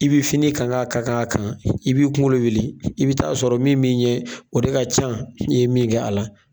I bɛ fini kan ka kan kan, i b'i i kunkolo wuli, i bi taa sɔrɔ min min ɲɛ, o de ka ca, n'i ye min kɛ a la.